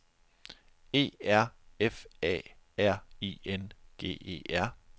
E R F A R I N G E R